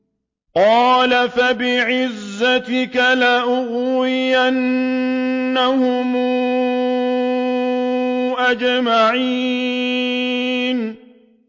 قَالَ فَبِعِزَّتِكَ لَأُغْوِيَنَّهُمْ أَجْمَعِينَ